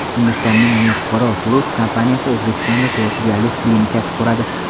Hindistonning NephroPlus kompaniyasi O‘zbekistonda to‘rtta dializ klinikasi quradi.